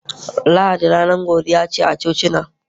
Lahadi ranar godiya ce a cocina